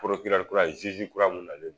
kura kura mun nalen